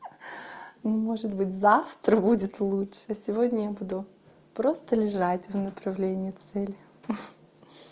может быть завтра будет лучше а сегодня я буду просто лежать в направлении цели